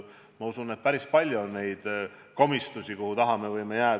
Ma usun, et päris palju on komistusvõimalusi, mille taha me võime jääda.